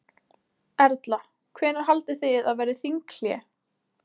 Erla: Hvenær haldið þið að verði þinghlé?